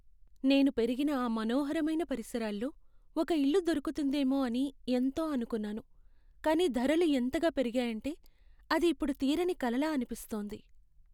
నేను పెరిగిన ఆ మనోహరమైన పరిసరాల్లో ఒక ఇల్లు దొరుకుతుందేమో అని ఎంతో అనుకున్నాను, కానీ ధరలు ఎంతగా పెరిగాయంటే అది ఇప్పుడు తీరని కలలా అనిపిస్తోంది.